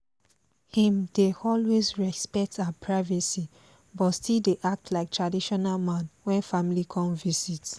im dey always respect her privacy but still dey act like traditional man when family come visit